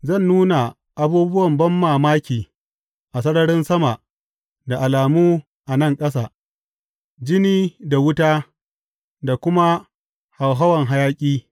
Zan nuna abubuwan banmamaki a sararin sama da alamu a nan ƙasa, jini da wuta da kuma hauhawan hayaƙi.